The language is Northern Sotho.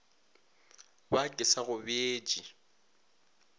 ba ke sa go beetše